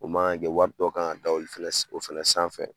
O mana kɛ wari dɔ kan ka da olu fɛnɛ, o fɛnɛ sanfɛ